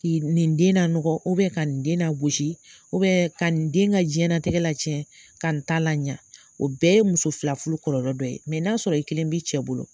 Ki' nin den na nɔgɔ u bɛn ka nin den nagosi u bɛn ka nin den ka jiɲɛ la tɛgɛ ka n ta la ɲa o bɛɛ ye muso fila furu kɔlɔlɔ dɔ ye mɛ n'a sɔrɔ i kelen b'i cɛ bolo